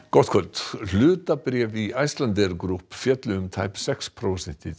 gott kvöld hlutabréf í Icelandair Group féllu um tæp sex prósent í